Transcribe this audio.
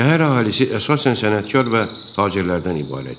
Şəhər əhalisi əsasən sənətkar və tacirlərdən ibarət idi.